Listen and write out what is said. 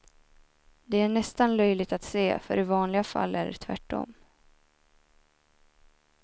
Det är nästan löjligt att se, för i vanliga fall är det tvärtom.